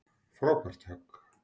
Frábært högg.